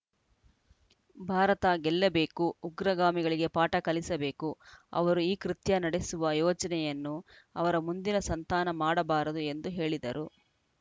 ಭಾರತ ಗೆಲ್ಲಬೇಕು ಉಗ್ರಗಾಮಿಗಳಿಗೆ ಪಾಠ ಕಲಿಸಬೇಕು ಅವರು ಈ ಕೃತ್ಯ ನಡೆಸುವ ಯೋಚನೆಯನ್ನು ಅವರ ಮುಂದಿನ ಸಂತಾನ ಮಾಡಬಾರದು ಎಂದು ಹೇಳಿದರು